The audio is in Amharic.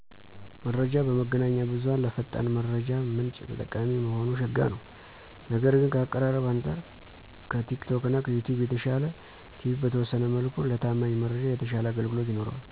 መረጃ በመገናኛ ብዙሃን ለፈጣን መረጃ ምንጭ ጠቃሚ መሆኑ ሸጋ ነው። ነገር ግን ከአቀራረብ አንጻር ከቲክቶክና ከዩትዩብ የተሻለ ቲቪ በተወሠነ መልኩ ለታማኝ መረጃ የተሻለ አገልግሎት ይኖረዋል።